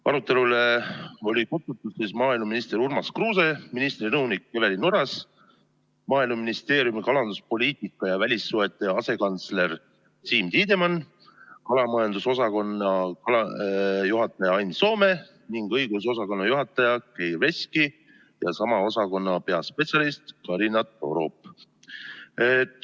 Arutelule olid kutsutud maaeluminister Urmas Kruuse, ministri nõunik Evelin Oras, Maaeluministeeriumi kalanduspoliitika ja välissuhete asekantsler Siim Tiidemann, kalamajandusosakonna juhataja Ain Soome ning õigusosakonna juhataja Geir Veski ja sama osakonna peaspetsialist Karina Torop.